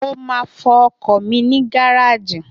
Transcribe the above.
Mo máa fọ ọkọ̀ mi ní gáràjì